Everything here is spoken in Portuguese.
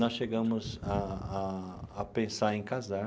Nós chegamos a a a pensar em casar.